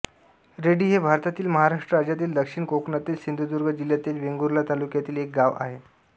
ready हे भारतातील महाराष्ट्र राज्यातील दक्षिण कोकणातील सिंधुदुर्ग जिल्ह्यातील वेंगुर्ला तालुक्यातील एक गाव आहे